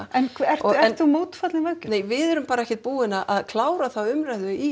en ert þú mótfallin veggjöldum nei við erum bara ekkert búin að klára þá umræðu í